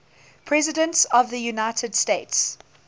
presidents of the united states